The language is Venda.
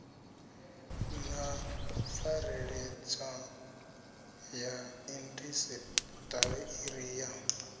na pfareledzwa ya indasiṱiri ya